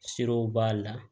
Sirow b'a la